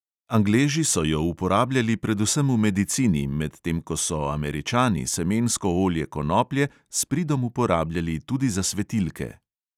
Angleži so jo uporabljali predvsem v medicini, medtem ko so američani semensko olje konoplje s pridom uporabljali tudi za svetilke.